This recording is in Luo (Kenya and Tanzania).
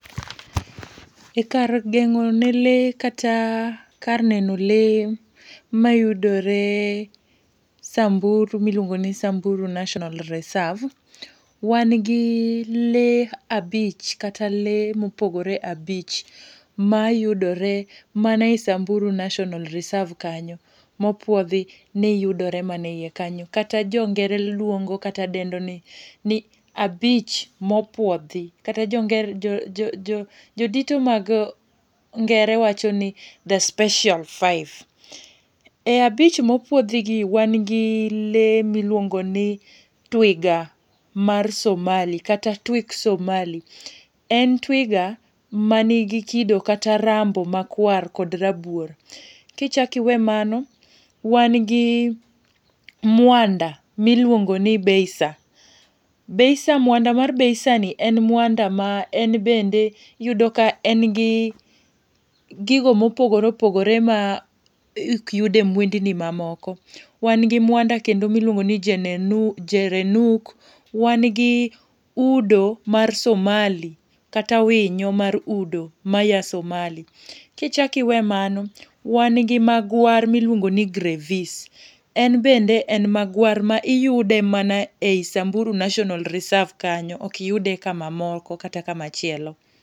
E kar gengo ne lee, kata kar neno lee mayudore Samburu ma iluongo ni Samburu National Reserve, wan gi lee abich, kata lee mopogore abich. Mayudore mana e Samburu National Reserve kanyo. Mopuodhi ni yudore mana e iye kanyo. Kata jongere luongo kata dendo ni ni abich mopuodhi, kata jo dito mag ngere wacho ni the special five. E abich ma opuodhi gi wan gi lee miluongo ni twiga mar Somali, kata twik Somali, en twiga ma nigi kido kata rambo ma kwar kod rabuor. Kichak iwe mano, wan gi mwanda, ma iluongo ni Beisa, Beisa, mwanda mar Beisa ni en mwanda ma en bende iyudo ka en gi gigo mopogore opogore ma ok yud e mwendni ma moko. Wan go mwanda kendo ma iluongo ni gerenuk. Wan gi udo mar somali, kata winyo mar udo maya Somali. Kichak iwe mano, wan gi magwar, ma iluongo ni Grevys en bende en magwar ma iyude mana ei Samburu National Reserve kanyo, ok yude kama moko, kata kama chielo.